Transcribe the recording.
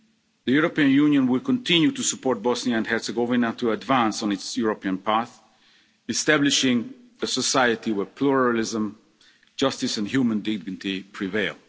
grief. The European Union will continue to support Bosnia and Herzegovina to advance on its European path, establishing a society where pluralism, justice and human dignity prevail.